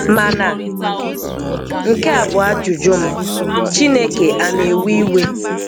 Mana nke a bụ ajụjụ m: Chineke a na-ewe iwe?